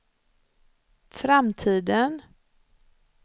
framtiden